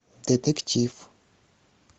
детектив